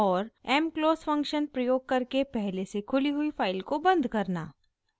mclose function प्रयोग करके पहले से खुली हुई फाइल को बंद करना